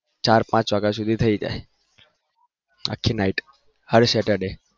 ચાર પાચ આવ્યા સુધી થઇ જાય આખી night હર saturday